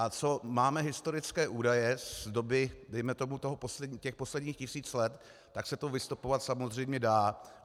A co máme historické údaje z doby, dejme tomu těch posledních tisíc let, tak se to vystopovat samozřejmě dá.